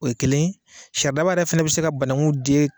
O ye kelen ye, saridaba yɛrɛ fɛnɛ bɛ se ka banakun den